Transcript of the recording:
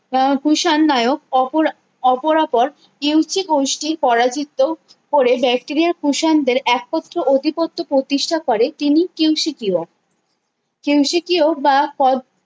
আহ কুষাণ নায়ক অপর অপরাপর ইউসি গোষ্ঠী পরাজিত করে ড্যাটেরিয়া কুষাণদের একত্র অধিপত্য প্রতিষ্ঠা করে তিনি কিউ সি কিউও কিউ সি কিউও বা কল